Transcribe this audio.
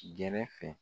Gɛrɛ fɛ